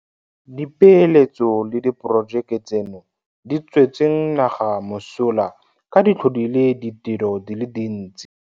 Dipeeletso le diporojeke tseno di tswetse naga mosola ka di tlhodile ditiro di le dintsi.